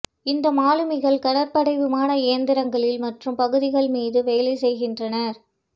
இந்த மாலுமிகள் கடற்படை விமான இயந்திரங்களில் மற்றும் பகுதிகள் மீது வேலை செய்கின்றனர்